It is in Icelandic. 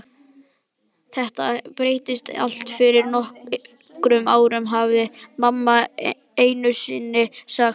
Þetta breyttist allt fyrir nokkrum árum, hafði mamma einusinni sagt.